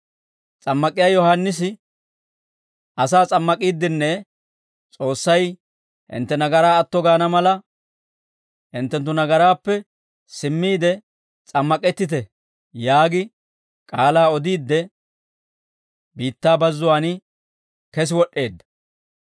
S'ammak'iyaa Yohaannisi asaa s'ammak'iiddinne, «S'oossay hintte nagaraa atto gaana mala, hinttenttu nagaraappe simmiide s'ammak'ettite» yaagi k'aalaa odiidde biittaa bazzuwaan kesi wod'd'eedda.